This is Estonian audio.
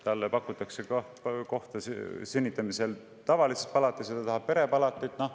Talle pakutakse pärast sünnitamist tavalist palatit, aga ta tahab perepalatit.